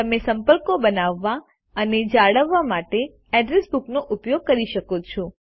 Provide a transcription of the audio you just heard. તમે સંપર્કો બનાવવા અને જાળવવા માટે અડ્રેસ બુકનો ઉપયોગ કરી શકો છો